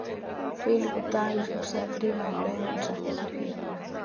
Þvílíkur dagur, hugsaði Drífa um leið og hún settist við píanóið.